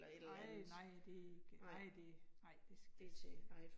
Nej nej, det ikke nej det, nej det det